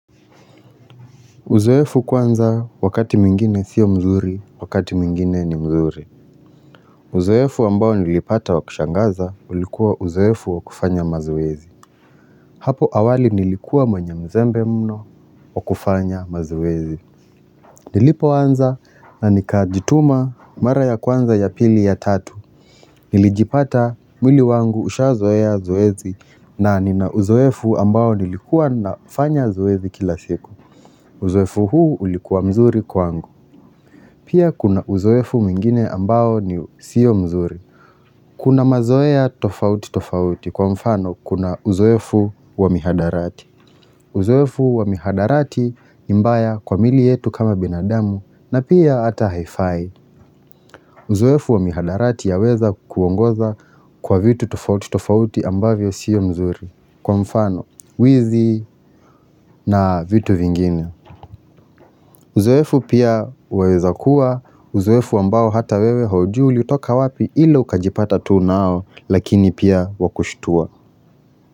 Uzoefu kwanza wakati mwingine sio mzuri, wakati mwingine ni mzuri. Uzoefu ambao nilipata wa kushangaza ulikuwa uzoefu wa kufanya mazoezi. Hapo awali nilikuwa mwenye mzembe mno wa kufanya mazoezi. Nilipoanza na nikajituma mara ya kwanza ya pili ya tatu. Nilijipata mwili wangu usha zoea zoezi na nina uzoefu ambao nilikuwa nafanya zoezi kila siku. Uzoefu huu ulikuwa mzuri kwangu. Pia kuna uzoefu mingine ambao ni siyo mzuri. Kuna mazoea tofauti tofauti kwa mfano kuna uzoefu wa mihadarati. Uzoefu wa mihadarati ni mbaya kwa mili yetu kama binadamu na pia ata haifai. Uzoefu wa mihadarati ya weza kuongoza kwa vitu tofauti tofauti ambavyo siyo mzuri. Kwa mfano wizi na vitu vingine. Uzoefu pia waweza kuwa, uzoefu ambao hata wewe haujui utoka wapi ila ukajipata tu nao lakini pia wakushtua.